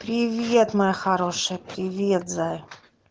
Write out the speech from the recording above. привет моя хорошая привет зая